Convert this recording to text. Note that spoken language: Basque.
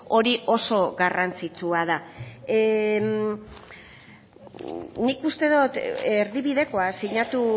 hori oso garrantzitsua da nik uste dot erdibidekoa sinatu